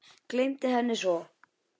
Gleymdi henni svo.